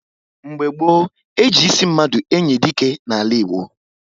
Mgbe gboo, e ji ịsị mmadụ enyi dike n'ala Igbo